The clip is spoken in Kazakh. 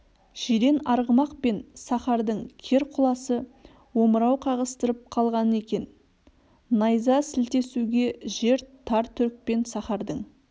жирен арғымақ пен сахардың кер құласы омырау қағыстырып калған екен найза сілтесуге жер тар түрікпен сахардың